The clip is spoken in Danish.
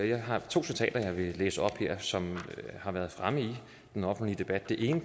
jeg har to citater som jeg vil læse op som har været fremme i den offentlige debat det ene